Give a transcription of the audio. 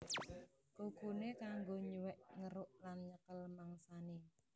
Kukuné kanggo nyuwèk ngeruk lan nyekel mangsané